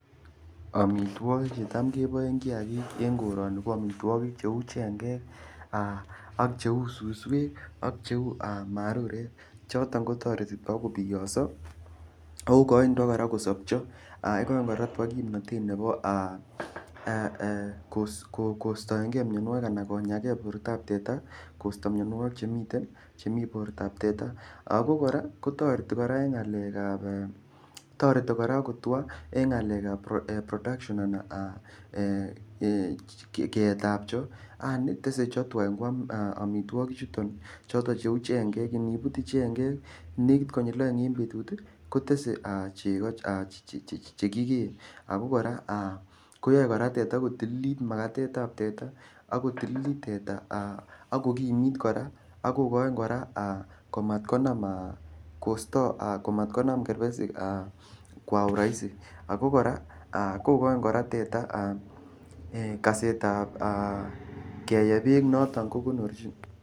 Amitwogik Che Tam keboen kiagik en koroni choton cheu suswek ak cheu marurek choton ko toreti tuga kiboyoso ako igochin tuga kosobcho ak igochin tuga kimnatet nebo kostoenge mianwogik anan konya mianwogik en bortab teta Che miten bortab teta ago kora kotoreti en ngalekab production anan keetab chego anan tesei chego tuga angoam amitwogichoto choton cheu chengek anibutyi chengek nekit konyil oeng en betut kotesei chego Che kigeei ako kora koyoe teta ko tililit Makatet ab teta ak kotililt teta ak kogimit kora ak kogoin kora komat konam kerbesik ako igochin kora teta kasetab bek noton ko konorjin